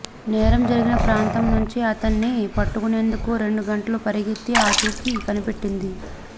నేరం జరిగిన ప్రాంతం నుంచి అతన్ని పట్టుకునేందుకు రెండు గంటలు పరిగెత్తి ఆచూకీ కనిపెట్టింది